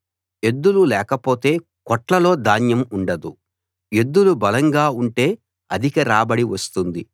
ఎద్దులు లేకపోతే కొట్లలో ధాన్యం ఉండదు ఎద్దులు బలంగా ఉంటే అధిక రాబడి వస్తుంది